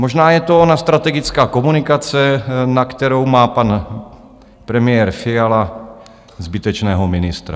Možná je to ona strategická komunikace, na kterou má pan premiér Fiala zbytečného ministra.